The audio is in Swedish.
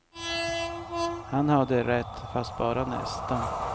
Han hade rätt, fast bara nästan.